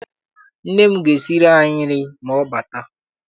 Nne m ga esiri anyị nri ma ọ bata.